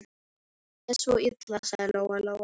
Ég les svo illa, sagði Lóa-Lóa.